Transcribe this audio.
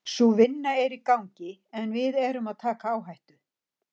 Sú vinna er í gangi en við erum að taka áhættu.